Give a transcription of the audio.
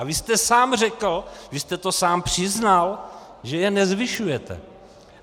A vy jste sám řekl, vy jste to sám přiznal, že je nezvyšujete.